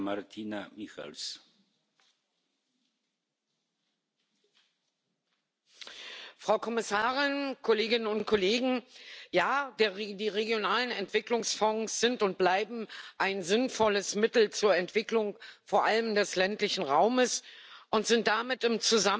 Herr Präsident, Frau Kommissarin, Kolleginnen und Kollegen! Die regionalen Entwicklungsfonds sind und bleiben ein sinnvolles Mittel zur Entwicklung vor allem des ländlichen Raums und sind damit im